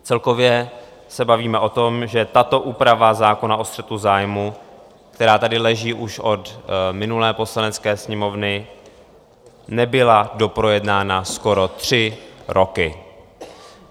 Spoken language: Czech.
Celkově se bavíme o tom, že tato úprava zákona o střetu zájmů, která tady leží už od minulé Poslanecké sněmovny, nebyla doprojednána skoro tři roky.